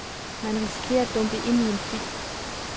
Man risikerer at dumpe ind til en film.